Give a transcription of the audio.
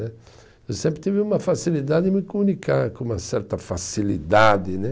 Eu sempre tive uma facilidade em me comunicar com uma certa facilidade né.